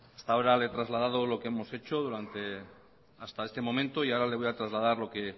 hasta ahora le he trasladado lo que hemos hecho hasta este momento y ahora le voy a trasladar lo que